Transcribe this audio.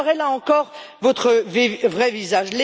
Vous montrerez, là encore, votre vrai visage.